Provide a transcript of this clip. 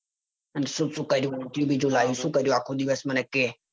અને શું શું કર્યું ઉંધયું બૂંધયું લાયુ શું કર્યું આખો દિવસ મને કે.